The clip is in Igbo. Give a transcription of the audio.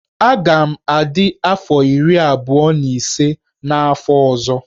Aga m adị afọ iri abụọ na ise n'afọ ọzọ.